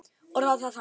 Orðaði það þannig.